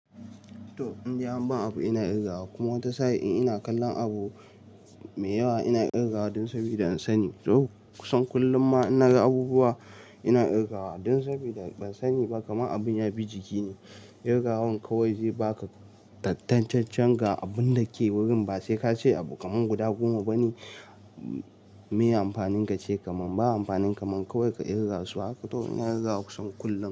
To indai anban abu ina kirgawa kuma wata sa'in ina kallon abu mai yawa ina kirgawa dan sabida in sani. To kusan kullum ma in naga abubuwa ina kirgawa dan sabida ban sani ba kaman abun ya bi jiki ne. Kirga wan kawai zai baka tattancen ga abunda ke wurin ba sai kace abu kaman guda goma bane, me amfanin kace kaman ba amfanin kaman kawai ka kirgasu haka. To ina kirgawa kusan kullum.